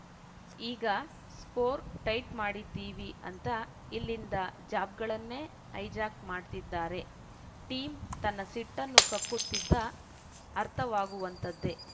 ಈಗ screw tight ಮಾಡಿದ್ದೀವಿ ಅಂತ ಇಲ್ಲಿಂದ ಜಾಬ್‌ ಗಳನ್ನೆ ಹೈಜ್ಯಾಕ್‌ ಮಾಡ್ತಿದ್ದಾರೆ ಟಿಮ್‌ ತನ್ನ ಸಿಟ್ಟನ್ನು ಕಕ್ಕುತ್ತಿದ್ದ ಅರ್ಥವಾಗುವಂತದ್ದೆ